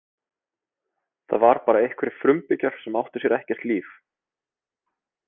Það var bara einhverjir frumbyggjar sem átti sér ekkert líf.